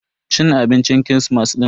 Cin abincin kirismas din.